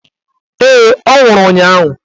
Ee, ọ nwụrụ ụnyaahụ.